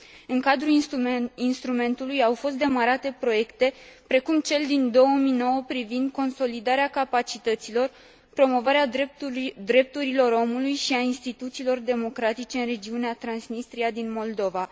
În cadrul instrumentului au fost demarate proiecte precum cel din 2009 privind consolidarea capacităților, promovarea drepturilor omului și a instituțiilor democratice în regiunea Transnistria din Moldova.